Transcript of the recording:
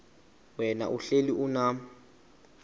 wena uhlel unam